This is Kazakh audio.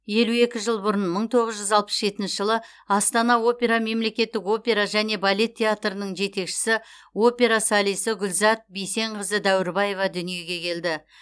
елу екі жыл бұрын мың тоғыз жүз алпыс жетінші жылы астана опера мемлекеттік опера және балет театрының жетекшісі опера солисі гүлзат бейсенқызы дәуірбаева дүниеге келді